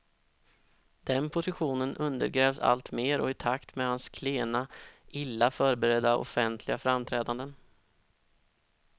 Den positionen undergrävs alltmer och i takt med hans klena, illa förberedda offentliga framträdanden.